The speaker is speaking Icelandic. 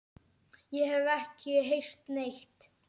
Ég hef ekki heyrt neitt.